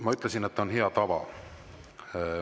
Ma ütlesin, et see on hea tava.